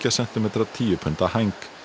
sentímetra tíu punda hæng